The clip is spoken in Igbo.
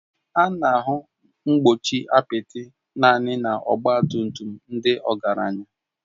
A na-ahụ mgbochi apịtị naanị na ọgba tum tum ndị ọgaranya